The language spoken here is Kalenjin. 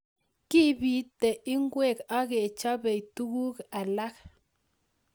Kiipiti ngweek ak kechopei tuguk alak